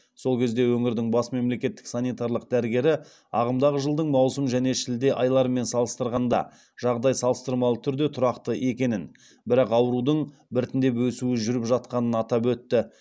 сол кезде өңірдің бас мемлекеттік санитарлық дәрігері ағымдағы жылдың маусым және шілде айларымен салыстырғанда жағдай салыстырмалы түрде тұрақты екенін бірақ аурудың біртіндеп өсуі жүріп жатқанын атап өтті